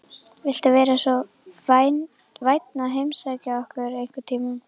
Viltu vera svo vænn að heimsækja okkur einhvern tímann?